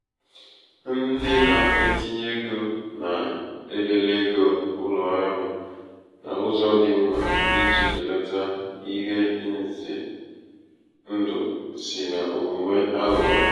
ndị na-etinye ego na-elele ego ụlọ ọrụ n’ụzọ dị mma iji belata belata ihe ize ndụ si n’omume aghụghọ.